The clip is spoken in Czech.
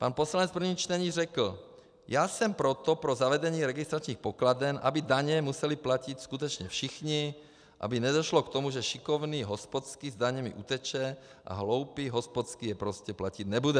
Pan poslanec v prvním čtení řekl: Já jsem proto pro zavedení registračních pokladen, aby daně museli platit skutečně všichni, aby nedošlo k tomu, že šikovný hospodský s daněmi uteče a hloupý hospodský je prostě platit nebude.